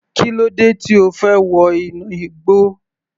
Kílódé tí O fẹ́ wọ inú igbó.